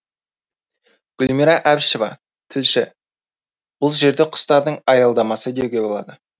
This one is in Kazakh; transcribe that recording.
гүлмира әбішева тілші бұл жерді құстардың аялдамасы деуге болады